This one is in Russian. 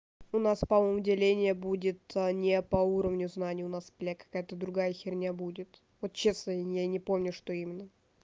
у нас по-моему деление будет не по уровню знаний у нас бля какая-то другая херня будет вот честно я не помню что именно